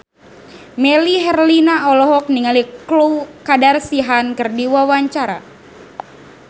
Melly Herlina olohok ningali Khloe Kardashian keur diwawancara